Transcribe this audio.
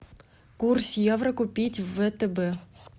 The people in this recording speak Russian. курс евро купить в втб